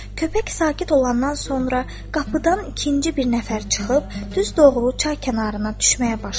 Köpək sakit olandan sonra qapıdan ikinci bir nəfər çıxıb düz doğru çay kənarına düşməyə başladı.